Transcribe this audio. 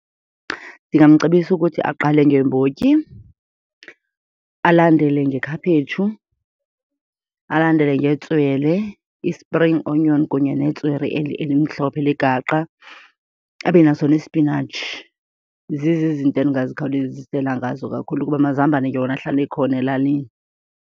Ndingamcebisa ukuthi aqale ngeembotyi, alandele ngekhaphetshu, alandele ngetswele, i-spring onion kunye netswele elimhlophe legaqa, abe naso nesipinatshi. Zizo izinto endingazikhawulezisela ngazo kakhulu kuba amazambane yona ahlala ekhona elalini.